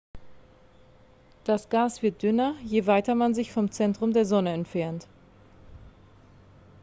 das gas wird dünner je weiter man sich vom zentrum der sonne entfernt